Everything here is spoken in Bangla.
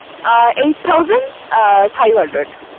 Eight thousand ah five hundred